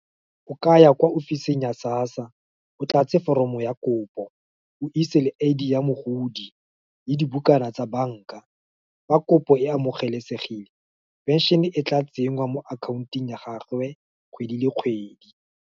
O ka ya kwa ofiseng ya SASSA, o tlatse foromo ya kopo, o ise le I_D ya mogodi, le dibukana tsa banka. Fa kopo e amogelesegile, pension e tla tsenngwa mo akhaontong ya gagwe, kgwedi le kgwedi.